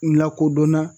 N lakodɔnna